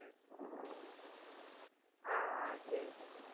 ஆஹ் ஆஹ் சரி சங்கவி